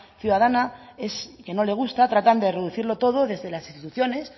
ciudadana que no le gusta tratando de reducirlo todo desde las instituciones